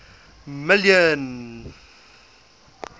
million